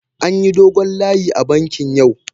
An yi dogon layi a bankin yau.